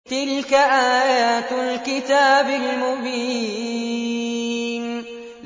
تِلْكَ آيَاتُ الْكِتَابِ الْمُبِينِ